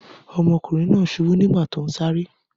Ọmọkùnrin náà ṣubú nígbà tó ń sáré.